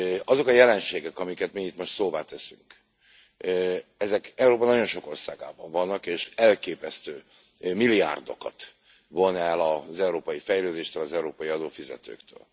Azok a jelenségek, amiket mi itt most szóvá teszünk, ezek Európa nagyon sok országában vannak, és elképesztő milliárdokat von el az európai fejlődéstől, az európai adófizetőktől.